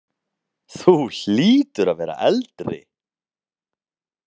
Þú hlýtur að vera eldri!